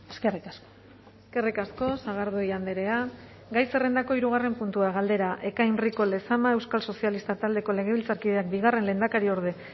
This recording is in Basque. eskerrik asko eskerrik asko sagardui andrea gai zerrendako hirugarren puntua galdera ekain rico lezama euskal sozialistak taldeko legebiltzarkideak bigarren lehendakariorde